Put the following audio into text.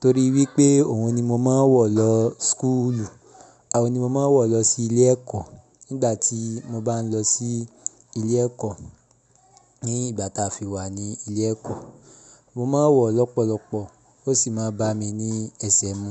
torí wípé òun ni mo máa ń wọ lọ schoolu, àó ni mo máa ń wọ lọ sí ilé ẹ̀kọ́ nígbà tí mo bá ń lọ sí ilé ẹ̀kọ́. Ní ìgbà táa fi wà ní ilé ẹ̀kọ́, mo máa ń wọ ọ̀ lọ́pọ̀lọpọ̀ ó sì máa ń bá mi ní ẹsẹ̀ mú.